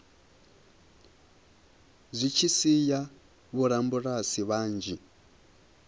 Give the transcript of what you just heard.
zwi tshi sia vhorabulasi vhanzhi